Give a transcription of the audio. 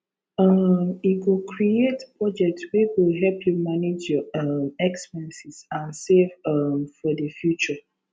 um e go create budget wey go help you manage your um expenses and save um for di future